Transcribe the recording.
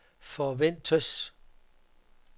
forventes